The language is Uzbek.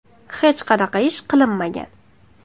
Hech qanaqa ish qilinmagan.